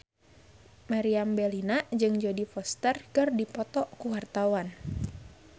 Meriam Bellina jeung Jodie Foster keur dipoto ku wartawan